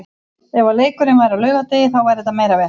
Ef að leikurinn væri á laugardegi þá væri þetta meira vesen.